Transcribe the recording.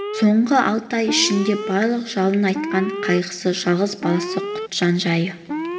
соңғы алты ай ішінде барлық жалын атқан қайғысы жалғыз баласы құтжан жайы